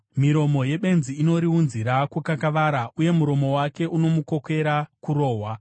Miromo yebenzi inoriunzira kukakavara, uye muromo wake unomukokera kurohwa.